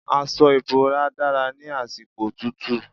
Aṣọ ìbora dára ní àsìkò òtútù.